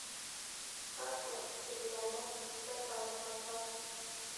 kakwa lomon letenakata